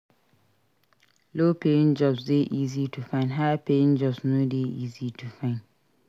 Low paying jobs de easy to find high paying jobs no de easy to find